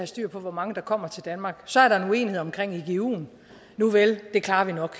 styr på hvor mange der kommer til danmark så er der en uenighed omkring iguen nuvel det klarer vi nok